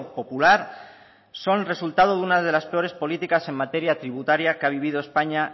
popular son el resultado de unas de las peores políticas en materia tributaria que ha vivido españa